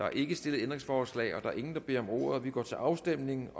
der er ikke stillet ændringsforslag der er ingen der har bedt om ordet vi går til afstemning